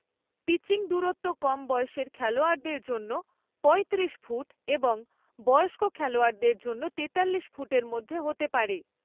Pitching দূরত্ব কম বয়সের খেলোয়াড়দের জন্য পঁয়ত্রিশ ফুট এবং বয়স্ক খেলোয়াড়দের জন্য তেতাল্লিশ ফুটের মধ্যে হতে পারে।